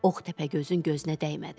Ox Təpəgözün gözünə dəymədi.